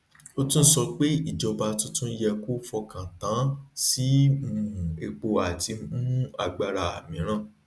ó tún sọ pé ìjọba tuntun yẹ kó fọkàn tán sí um epo àti um agbára míìrán